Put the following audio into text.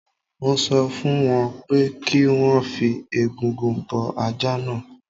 Mo sọ fún wọn pé kí wọ́n fi egungun bọ́ ajá náà